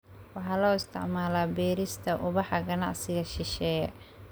Waxaa loo isticmaalaa beerista ubaxa ganacsiga shisheeye.